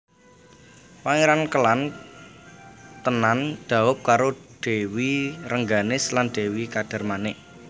Pangéran Kélan tenan dhaup karo Dèwi Rengganis lan Dèwi Kadarmanik